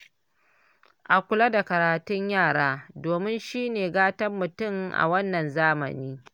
A kula da karatun yara domin shine gatan mutum a wannan zamanin